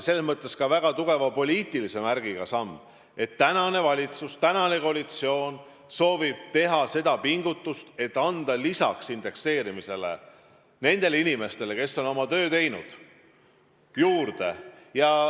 See on väga tugeva poliitilise märgiga samm, mis annab märku, et tänane valitsus, tänane koalitsioon soovib pingutada, et anda lisaks indekseerimisele nendele inimestele, kes on oma töö teinud, pensioni rohkem juurde.